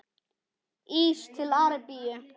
Ís til Arabíu?